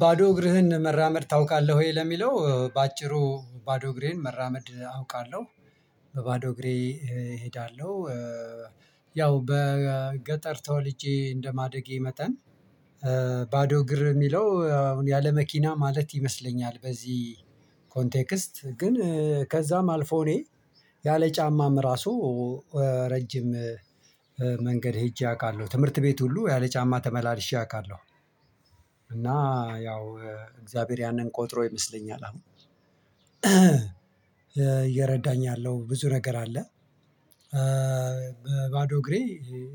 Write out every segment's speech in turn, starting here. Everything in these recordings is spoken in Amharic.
ባዶ እግርህን መራመድ ታውቃለህ ወይ? ለሚለው በአጭሩ ባዶ እግሬን መራመድ አውቃለሁ በባዶ እግሬ እሄዳለሁ ያው በገጠር ተወልጄ እንደማደጌ መጠን ባዶ እግር የሚለው አሁን ያለ መኪና ማለት ይመስለኛል በዚህ ኮንቴክስት ግን ከዛም አልፎ እኔ ያለ ጫማም እራሱ ረጅም መንገድ ሄጄ አውቃለሁ። ትምህርት ቤት ሁሉ ያለ ጫማ ተመላልሼ አውቃለሁ እና ያው እግዚአብሔር ያንን ቆጥሮ ይመስለኛል አሁን እየረዳኝ ያለው። ብዙ ነገር አለ በባዶ እግሬ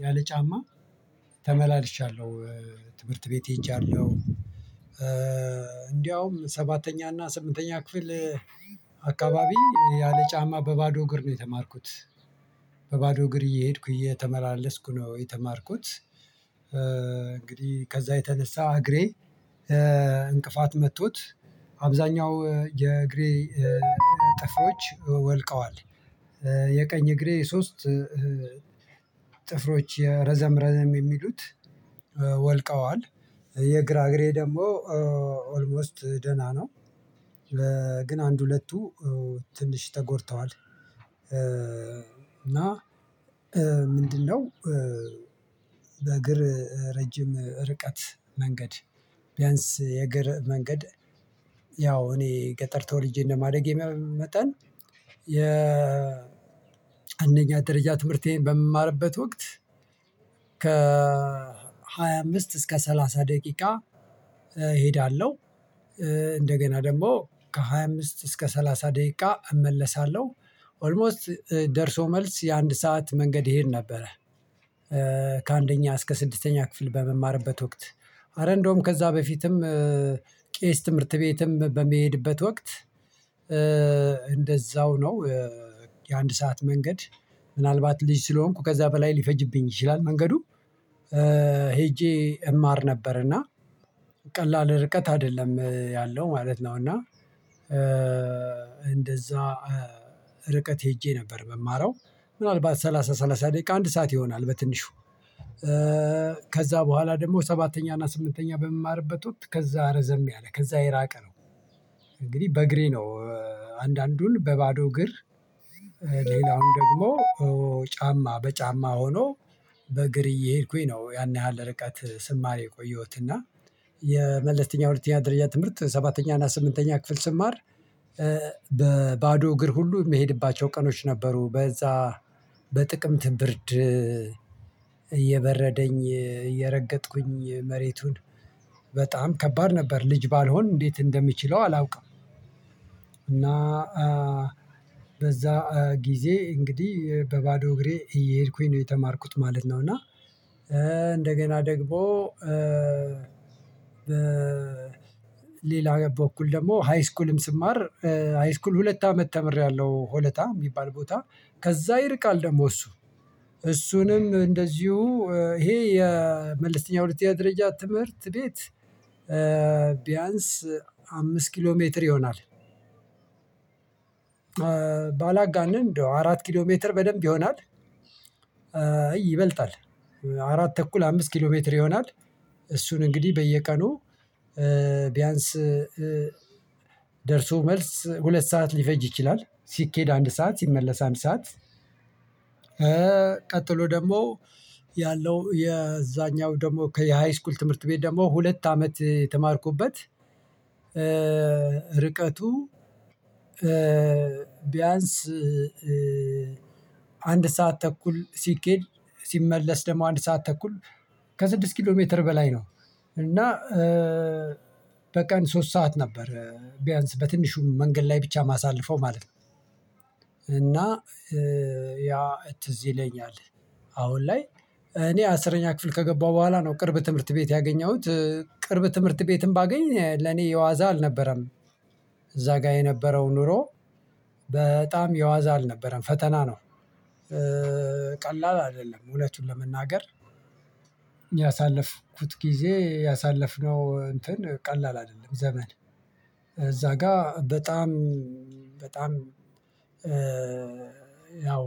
ያለ ጫማ ተመላልሻለሁ ትምህርት ቤት ሄጃለሁ እንደውም ሰባተኛ እና ስምንተኛ ክፍል አካባቢ ያለ ጫማ በባዶ እግር ነው የተማርኩት በባዶ እግር እየሄድኩ እየተመላለስኩ ነው የተማርኩት። እንግዲህ ከዛ የተነሳ እግሬ እንቅፋት መቶት አብዛኛው የእግሬ ጥፍሮች ወልቀዋል የእግሬ ሶስት ጥፍሮች ረዘም ረዘም የሚሉት ወልቀዋል የግራ እግሬ ደግሞ ኦልሞስት ደህና ነው። ግን አንድ ሁለቱ ትንሽ ተጎድተዋል እና ምንድነው በእግር ረጅም ርቀት መንገድ ቢያንስ የእግር መንገድ ያው እኔ ገጠር ተወልጄ እንደማደጌ መጠን የ አንደኛ ደረጃ ትምህርቴን በምማርበት ወቅት ከሃያ አምስት እስከ ሰላሳ ደቂቃ እሄዳለሁ። እንደገና ደግሞ ከሃያ አምስት እስከ ሰላሳ ደቂቃ እመለሳለሁ ኦልሞስት ደርሶ መልስ የአንድ ሰዓት መንገድ እሄድ ነበረ ከአንደኛ እስከ ስድስተኛ ክፍል በምማርበት ወቅት ኧረ እንደውም ከዛ በፊትም ትምህርት ቤትም በምሄድበት ወቅት እንደዛው ነው የአንድ ሰዓት መንገድ ምናልባት ልጅ ስለሆንኩ ከዛ በላይ ሊፈጅብኝ ይችላል መንገዱ ሄጄ እማር ነበርና ቀላል ርቀት አይደለም ያለው ማለት ነው እና እንደዛ ርቀት ሄጄ ነበር መማራው። ምናልባት ሰላሳ ሰላሳ ደቂቃ አንድ ሰዓት ይሆናል በትንሹ። ከዛ በኋላ ደግሞ ሰባተኛ እና ስምንተኛ በምማርበት ወቅት ከዛ ረዘም ያለ ከዛ የራቀ ነው። እንግዲህ በእግሬ ነው አንዳንዱን በባዶ እግር ሌላውን ደግሞ ጫማ በጫማ ሆኖ በእግር እየሄድኩኝ ነው ያን ያህል ርቀት ስማር የቆየሁት እና የመለስተኛ ሁለተኛ ደረጃ ትምህርት ሰባተኛ እና ስምንተኛ ክፍል ስማር በባዶ እግር ሁሉ የምሄድባቸው ቀኖች ነበሩ በዛ በጥቅምት ብርድ እየበረደኝ እየረገጥኩኝ መሬቱን በጣም ከባድ ነበር። ልጅ ባልሆን እንዴት እንደምችለው አላውቅም። እና በዛ ጊዜ እንግዲህ በባዶ እግሬ እየሄድኩኝ ነው የተማርኩት ማለት ነው እና እንደገና ደግሞ በሌላ በኩል ደግሞ ሃይስኩልም ስማር ሃይስኩል ሁለት አመት ተምሬያለሁ ሆለታ የሚባል ቦታ። ከዛ ይርቃል ደግሞ እሱ እሱንም እንደዚሁ ይሄ የመለስተኛ ሁለተኛ ደረጃ ትምህርት ቤት ቢያንስ አምስት ኪሎ ሜትር ይሆናል። ባላጋንን እንደው አራት ኪሎ ሜትር በደንብ ይሆናል። ይበልጣል አራት ተኩል አምስት ኪሎ ሜትር ይሆናል። እሱን እንግዲህ በየቀኑ ቢያንስ ደርሶ መልስ ሁለት ሰዓት ሊፈጅ ይችላል። ሲኬድ አንድ ሰዓት ሲመለስ አንድ ሰዓት። ቀጥሎ ደግሞ ያለው የዛኛው ደግሞ የሃይስኩል ትምህርት ቤት ደግሞ ሁለት አመት የተማርኩበት ርቀቱ ቢያንስ አንድ ሰዓት ተኩል ሲኬድ ሲመለስ ደግሞ አንድ ሰዓት ተኩል ከስድስት ኪሎ ሜትር በላይ ነው እና በቀን ሶስት ሰዓት ነበር ቢያንስ በትንሹ መንገድ ላይ ብቻ የማሳልፈው ማለት ነው እና ያ ትዝ ይለኛል አሁን ላይ እኔ አስረኛ ክፍል ከገባሁ በኋላ ነው ቅርብ ትምህርት ቤት ያገኘሁት። ቅርብ ትምህርት ቤትም ባገኝ ለኔ የዋዛ አልነበረም እዛ ጋር የነበረው ኑሮ። በጣም የዋዛ አልነበረም ፈተና ነው። ቀላል አይደለም እውነቱን ለመናገር። ያሳለፍኩት ጊዜ ያሳለፍነው እንትን ቀላል አይደለም ዘመን። እዛ ጋር በጣም በጣም ያው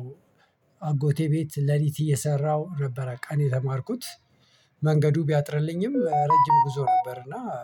አጎቴ ቤት ሌሊት እየሰራሁ ነበረ ቀን የተማርኩት። መንገዱ ቢያጥርልኝም ረጅም ጉዞ ነበር እና